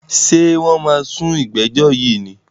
Ṣé wọ́n máa sú ìgbẹ́jọ́ yìí ni?